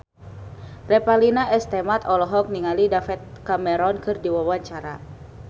Revalina S. Temat olohok ningali David Cameron keur diwawancara